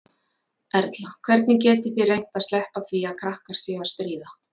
Erla: Hvernig getið þið reynt að sleppa því að krakkar séu að stríða?